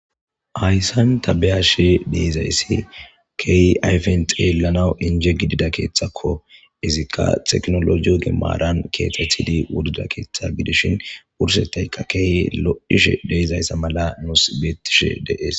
hayssan tabeyashe de'zayssi keehi ayfen xeellanawu inje gidida keeththakko izikka teknolojiyo gimmaran keexethidi wudida keeththa gidishin wursettayka keey lodhishe deezayssa mala nuus beettishe dees